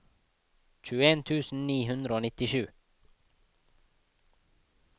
tjueen tusen ni hundre og nittisju